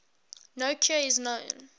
no cure is known